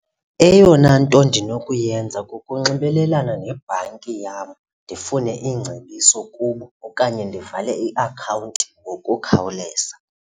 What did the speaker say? Eyona nto ndinokuyenza kukunxibelelana nebhanki yam ndifune iingcebiso kubo okanye ndivale iakhawunti ngokukhawuleza.